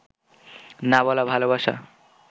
না বলা ভালবাসা